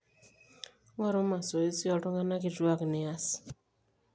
ng'oru masoezi ooltung'anak kituaak nias